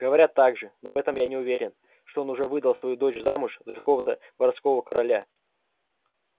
говорят также но в этом я не уверен что он уже выдал свою дочь замуж за какого-то воровского короля